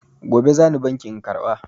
Gobe za ni bankin in karɓa.